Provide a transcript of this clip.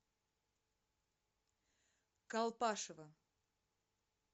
колпашево